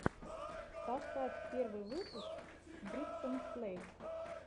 поставь первый выпуск бригсон плэйс